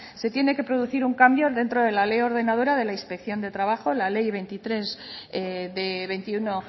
se tiene que producir un cambio dentro de la ley ordenadora de la inspección de trabajo la ley veintitrés barra dos mil quince de veintiuno